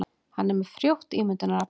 Hann er með frjótt ímyndunarafl.